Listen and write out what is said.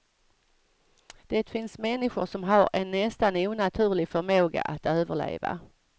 Det finns människor som har en nästan onaturlig förmåga att överleva.